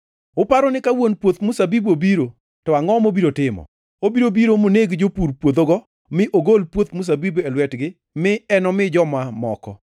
“Uparo ni ka wuon puoth mzabibu obiro to angʼo mobiro timo? Obiro biro moneg jopur puodhogo mi ogol puoth mzabibuno e lwetgi mi enomi joma moko.